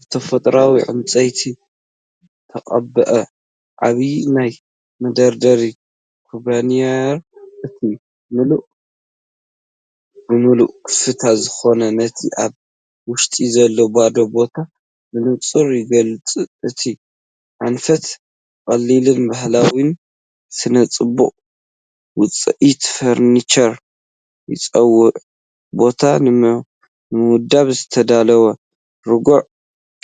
ብተፈጥሮኣዊ ዕንጨይቲ ዝተቐብአ ዓቢይ ናይ መደርደሪ ካቢነይረአ፣ እቲ ምሉእ ብምሉእ ክፉት ዝኾነ ነቲ ኣብ ውሽጢ ዘሎ ባዶ ቦታ ብንጹር ይገልጽ። እቲ ኣንፈት ቀሊልን ባህላውን ስነ-ጽባቐ ውፅኢት ፈርኒቸር ይጽውዕ፣ ቦታ ንምውዳብ ዝተዳለወ ርጉእ